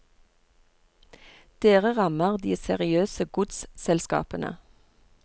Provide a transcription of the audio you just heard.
Dere rammer de seriøse godsselskapene?